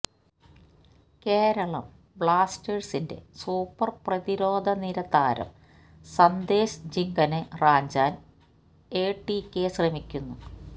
കേരളം ബ്ലാസ്റ്റേഴ്സിന്റെ സൂപ്പർ പ്രതിരോധനിര താരം സന്ദേശ് ജിങ്കനെ റാഞ്ചാൻ എടികെ ശ്രമിക്കുന്നു